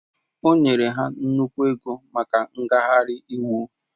O nyere ha nnukwu ego maka ngagharị iwu